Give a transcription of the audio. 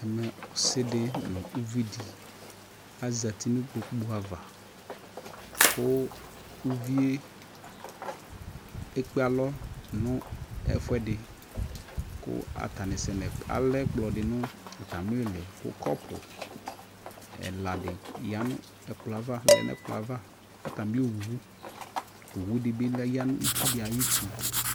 ɛmɛ ɔsiidi nʋ ʋvidi azati nʋ ikpɔkʋ aɣa kʋ ʋviɛ ɛkpè alɔ nʋ ɛƒʋɛdi kʋ alɛ ɛkplɔ dinʋ atami ili kʋ kɔpʋ ɛla di yanʋ ɛkplɔɛ aɣa, atami ɔwʋ, ɔwʋ dibi yanʋ itsʋ ayiti